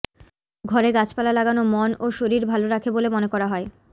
ঘরে গাছপালা লাগানো মন ও শরীর ভালো রাখে বলে মনে করা হয়